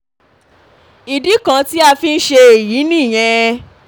ìdí kan tí a fi ń ṣe èyí nìyẹn